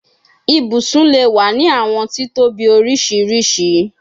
Ibusun le wa ni awọn titobi oriṣiriṣi